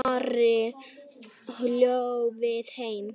Ari hló við þeim.